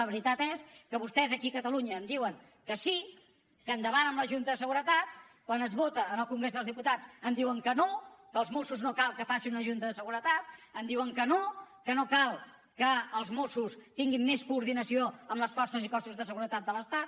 la veritat és que vostès aquí a catalunya em diuen que sí que endavant amb la junta de seguretat quan es vota en el congrés dels diputats em diuen que no que els mossos no cal que facin una junta de seguretat em diuen que no que no cal que els mossos tinguin més coordinació amb les forces i cossos de seguretat de l’estat